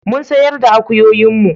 Mun sayar da akuyoyin mu